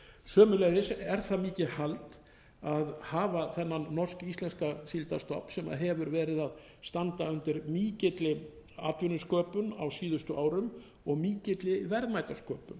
sömuleiðis er það mikið hald að hafa þennan norsk íslenska síldarstofn sem hefur verið að standa undir mikilli atvinnusköpun á síðustu árum og mikilli verðmætasköpun